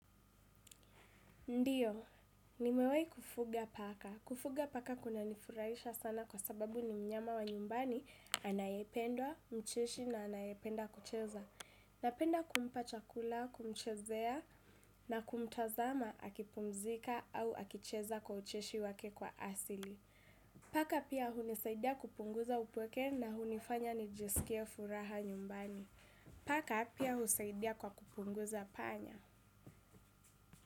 Ndiyo, nimewai kufuga paka. Kufuga paka kunanifurahisha sana kwa sababu ni mnyama wa nyumbani anayependwa, mcheshi na anayependa kucheza. Napenda kumpa chakula, kumchezea na kumtazama akipumzika au akicheza kwa ucheshi wake kwa asili. Paka pia hunisaidia kupunguza upweke na hunifanya nijiskie furaha nyumbani. Paka pia husaidia kwa kufukuza panya.